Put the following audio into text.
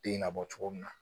Den na bɔ cogo min na